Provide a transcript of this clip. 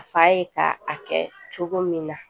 A fa ye ka a kɛ cogo min na